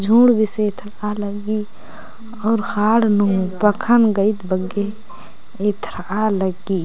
झुंड बेसे एथरा लगी अऊर हाड़ नू पखन गईद बग्गे एथरा लगी।